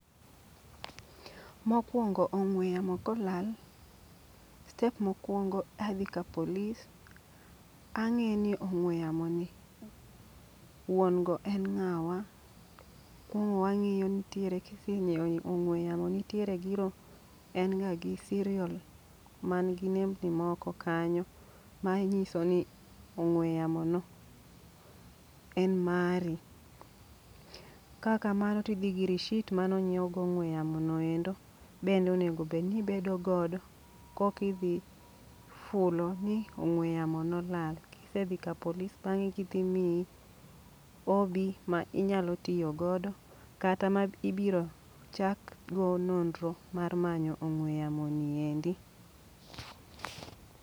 Mokwongo ong'we yamo kolal, step mokwongo adhi ka polis ang'e ni ong'we yamo ni wuon go en ng'awa. Kuong'o wang'iyo nitiere kise nyiiewo ong'we yamo nitiere zero en ga gi siriol ma gi nembni moko kanyo manyiso ni ong'we yamo no en mari. Ka kamano tidhi gi rishit manonyiew go ong'we yamo noendo. Bende onegobedni ibedo godo, kokidhi fulo ni ong'we yamo nolal. Kisedhi ka polis bang'e gidhi miyi OB ma inyalo tiyo godo kata ma ibiro chak go nodnro mar manyo ong'we yamo niendi.